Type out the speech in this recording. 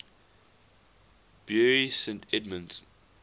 bury st edmunds